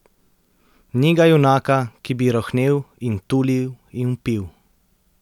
Ni ga junaka, ki bi rohnel in tulil in vpil.